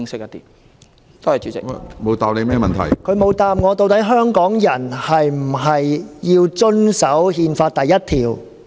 局長沒有答覆究竟香港人是否需要遵守《憲法》第一條？